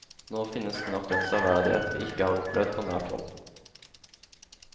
Nå finnes knapt den severdighet vi ikke har opplevd på nært hold.